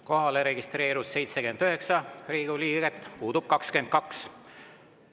Kohalolijaks registreerus 79 Riigikogu liiget, puudub 22.